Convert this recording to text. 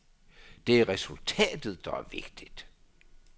Det er resultatet, der er vigtigt.